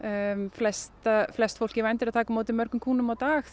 flest flest fólk í vændi er að taka við mörgum kúnnum á dag